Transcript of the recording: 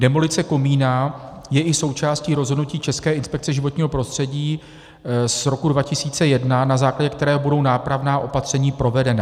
Demolice komína je i součástí rozhodnutí České inspekce životního prostředí z roku 2001, na základě kterého budou nápravná opatření provedena.